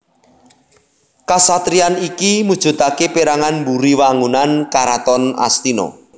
Kasatriyan iki mujudake perangan mburi wangunan Karaton Astina